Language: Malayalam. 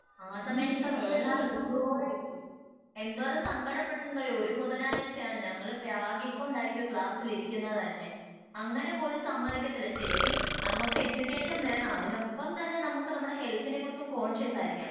ആ സമയത്ത് ഒക്കെ ഞാൻ എന്തോരം എന്തോരം സങ്കടപ്പെട്ടിട്ടുണ്ടന്ന് അറിയോ ഒരു ബുധനാഴ്ച ആണ് ഞങ്ങള് പ്രാകി കൊണ്ടായിരിക്കും ക്ലാസ്സിൽ ഇരിക്കുന്നത് തന്നെ അങ്ങിനെ പോലും സമ്മയ്ക്കത്തില്ല ശെരിക്കും നമുക്ക് എഡ്യൂക്കേഷൻ വേണം അതിനൊപ്പം തന്നെ നമ്മുക്ക് നമ്മുടെ ഹെൽത്തിനെ കുറിച്ചും കോൺഷ്യസ്സായിരിക്കണം